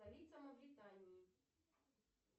столица мавритании